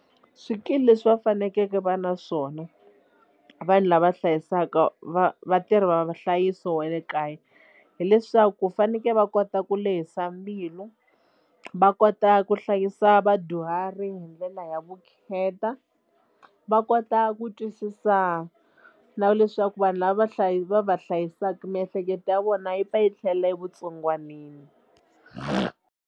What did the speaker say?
Swikili leswi va fanekeke va na swona vanhu lava hlayisaka va vatirhi va va nhlayiso wa le kaya hileswaku ku fanekele va kota ku lehisa mbilu va kota ku hlayisa ya vadyuhari hi ndlela ya vukheta va kota ku twisisa na leswaku vanhu lava va va va hlayisaka miehleketo ya vona yi pfa yi tlhelela evutsongwanini.